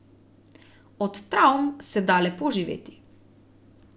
Od travm se da lepo živeti.